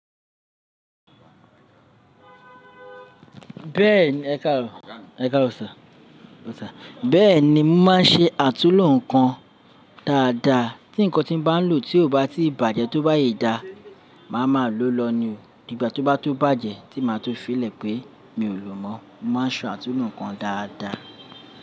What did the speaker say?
Bẹ́ẹ̀ni, ẹkárọ, ẹkárọ sir. Bẹ́ẹ̀ni, mo máa ń ṣe àtúnlo nǹkan dáadáa. Tí nǹkan tí mo bá lò tí kò bá tíì bàjẹ́ tóbáye dá, màá máa lo lọ ní o, di gbá tó ba to bàjẹ́ tí màá tó filẹ̀ pé mi ò lò mọ́. Mo máa ń ṣọ àtúnlo nǹkan dáadáa.